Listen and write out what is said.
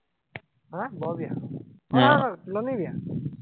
হা বৰ বিয়া। আহ নহয় নহয় তুলনী বিয়া